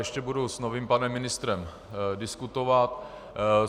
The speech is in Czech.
Ještě budu s novým panem ministrem diskutovat.